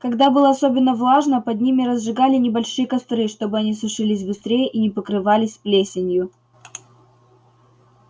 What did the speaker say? когда было особенно влажно под ними разжигали небольшие костры чтобы они сушились быстрее и не покрывались плесенью